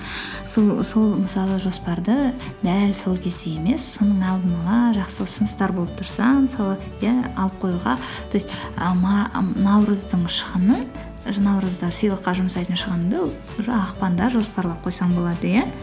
сол мысалы жоспарды дәл сол кезде емес соның алдын ала жақсы ұсыныстар болып тұрса мысалы иә алып қоюға то есть і і наурыздың шығыны наурызда сыйлыққа жұмсайтын шығынды уже ақпанда жоспарлап қойсаң болады иә